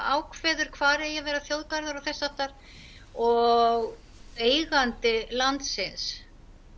ákveður hvar eigi að vera þjóðgarður og þess háttar og eigandi landsins